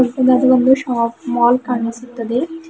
ಇಲ್ಲಿ ಅದು ಒಂದು ಶಾಪ್ ಮಾಲ್ ಕಾಣಿಸುತ್ತದೆ.